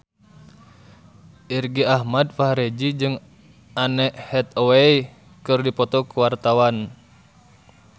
Irgi Ahmad Fahrezi jeung Anne Hathaway keur dipoto ku wartawan